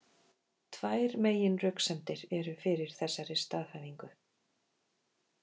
Tvær meginröksemdir eru fyrir þessari staðhæfingu.